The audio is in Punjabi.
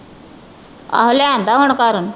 ਆਹੋ ਲਿਆਂਦਾ ਹੁਣ ਘਰ